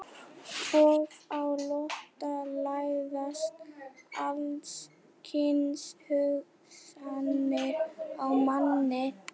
Og á flótta læðast alls kyns hugsanir að manni.